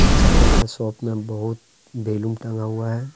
चप्पल का शॉप में बहोत बैलून टँगा हुआ है।